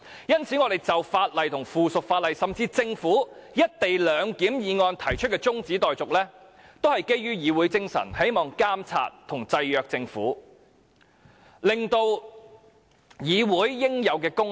因此，我們就法案及附屬法例，甚至政府動議的"一地兩檢"議案動議中止待續議案，都是基於議會精神，希望監察及制約政府，彰顯議會應有功能。